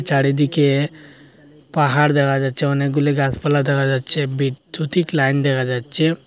চারিদিকে পাহাড় দেখা যাচ্ছে অনেকগুলি গাছপালা দেখা যাচ্ছে বিদ্যুতিক লাইন দেখা যাচ্ছে।